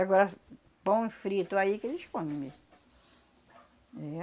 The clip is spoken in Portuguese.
Agora pão frito aí que eles comem mesmo.